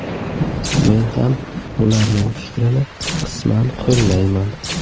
Men ham ularning fikrini qisman qo‘llayman.